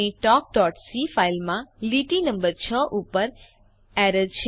આપણી talkસી ફાઈલમાં લીટી નમ્બર 6 ઉપર એરર છે